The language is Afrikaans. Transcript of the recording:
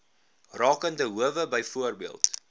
rakende howe byvoorbeeld